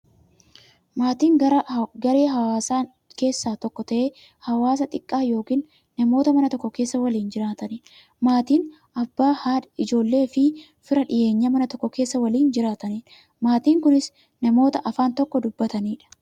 Maatiin garaa hawaasaa keessaa tokko ta'ee, hawaasa xiqqaa yookin namoota Mana tokko keessaa waliin jiraataniidha. Maatiin Abbaa, haadha, ijoolleefi fira dhiyeenyaa, Mana tokko keessaa waliin jiraataniidha. Maatiin kunnis, namoota afaan tokko dubbataniidha.